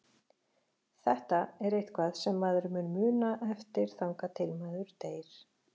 Þetta er eitthvað sem maður mun muna eftir þangað til maður deyr.